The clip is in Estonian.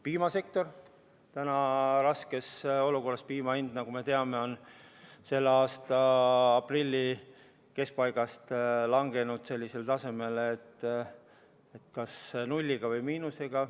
Piimasektor on raskes olukorras, sest piima hind on, nagu me teame, selle aasta aprilli keskpaigast langenud sellisele tasemele, et müüd kas nulliga või miinusega.